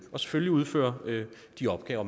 og selvfølgelig udføre de opgaver